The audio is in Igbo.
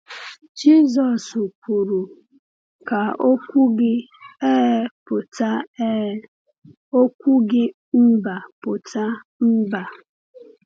Jisọs kwuru: “Ka okwu gị ‘Ee’ pụta ‘Ee’, okwu gị ‘Mba’ pụta ‘Mba.’”